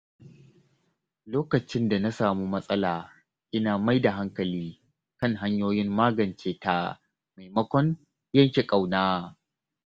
Lokacin da na samu matsala, ina mai da hankali kan hanyoyin magance ta maimakon yanke ƙauna.